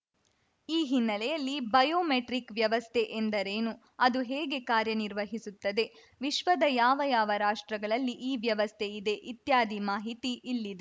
ಈ ಹಿನ್ನೆಲೆಯಲ್ಲಿ ಬಯೋಮೆಟ್ರಿಕ್‌ ವ್ಯವಸ್ಥೆ ಎಂದರೇನು ಅದು ಹೇಗೆ ಕಾರ್ಯ ನಿರ್ವಹಿಸುತ್ತದೆ ವಿಶ್ವದ ಯಾವ ಯಾವ ರಾಷ್ಟ್ರಗಳಲ್ಲಿ ಈ ವವಸ್ಥೆ ಇದೆ ಇತ್ಯಾದಿ ಮಾಹಿತಿ ಇಲ್ಲಿದೆ